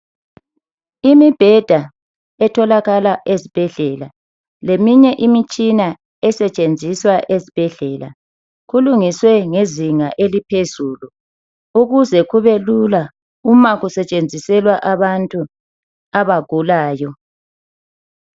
Imibheda etholakala ezibhedlela leminye imitshina esetshenziswa ezibhedlela , kulungiswe ngezinga eliphezulu ukuze kube lula uma kusetshenziselwa abantu abagulayo.